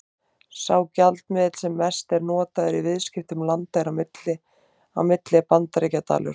Sá gjaldmiðill sem mest er notaður í viðskiptum landa á milli er Bandaríkjadalur.